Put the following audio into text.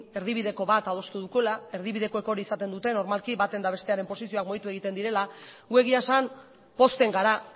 erdibideko bat adostu dugula erdibidekoek hori izaten dute normalki baten eta bestearen posizioak mugitu egiten direla gu egia esan pozten gara